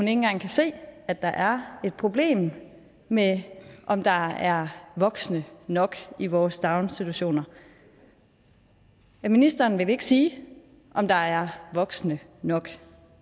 engang kan se at der er et problem med om der er voksne nok i vores daginstitutioner ministeren vil ikke sige om der er voksne nok